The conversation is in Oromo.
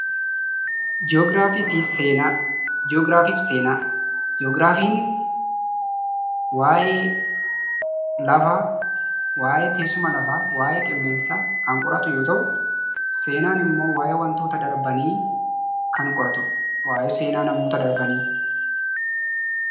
Ji'oogiraafii fi Seenaa. Ji'oogiraafiin waa'ee lafaa, teessuma lafaa fi qilleensaa kan qoratu yoo ta'u; Seenaan immoo waa'ee wantoota darbanii qoratuudha. Waa'ee seenaa namoota darbanii jechuu dha.